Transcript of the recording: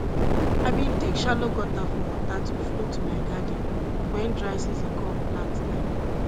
i bin dig shallow gutter for water to flow to my garden when dry season come plant time